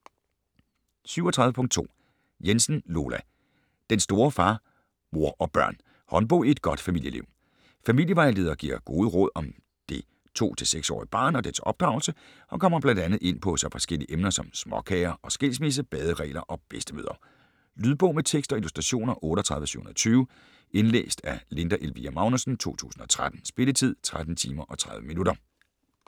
37.2 Jensen, Lola: Den store Far, mor & børn: håndbog i godt familieliv Familievejleder giver gode råd om det 2-6 årige barn og dets opdragelse og kommer bl.a. ind på så forskellige emner som småkager og skilsmisse, baderegler og bedstemødre. Lydbog med tekst og illustrationer 38720 Indlæst af Linda Elvira Magnussen, 2013. Spilletid: 13 timer, 30 minutter.